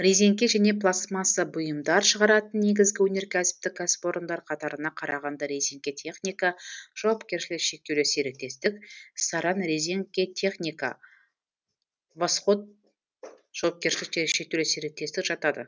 резеңке және пластмасса бұйымдар шығаратын негізгі өнеркәсіптік кәсіпорындар қатарына қарағанды резеңке техника жауапкершілігі шектеулі серіктестік саранрезеңкетехника восход жауапкершілігі шектесулі серіктестік жатады